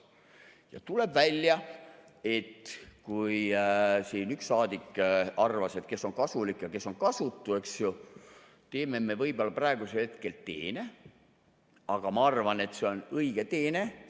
Ja tuleb välja, et kui siin üks saadik arvas, et kes on kasulik ja kes on kasutu, eks ju, teeme me võib-olla praegusel hetkel teene, aga ma arvan, et see on õige teene.